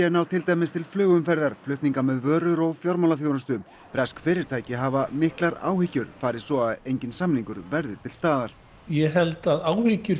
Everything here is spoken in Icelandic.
ná til dæmis til flugumferðar flutninga með vörur og fjármálaþjónustu bresk fyrirtæki hafa miklar áhyggjur fari svo að enginn samningur verði til staðar ég held að áhyggjur